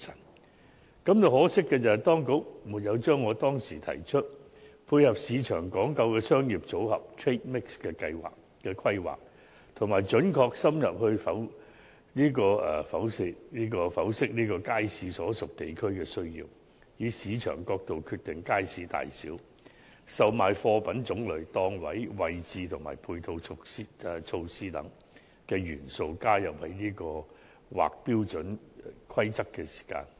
我感到可惜的是，當局沒有將我當時提出，配合市場講求的商業組合規劃，以及"準確深入剖析街市所屬地區的需要，以市場角度決定街市大小、售賣貨品種類、檔位位置及配套措施"等元素，加入在《規劃標準》之內。